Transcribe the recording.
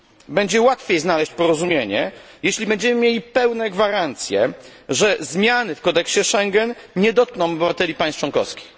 Będzie łatwiej znaleźć porozumienie, jeśli będziemy mieli pełne gwarancje, że zmiany w kodeksie Schengen nie dotkną obywateli państw członkowskich.